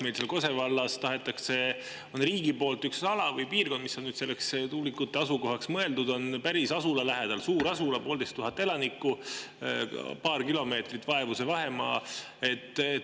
Meil seal Kose vallas tahetakse riigi poolt üks ala või piirkond, mis on mõeldud tuulikute asukohaks, päris asula lähedale – see on suur asula, pooleteise tuhande elanikuga –, vaevu paar kilomeetrit on see vahemaa.